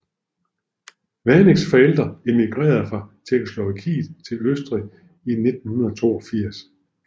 Vaneks forældre emigrerede fra Tjekkoslovakiet til Østrig i 1982